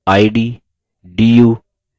id du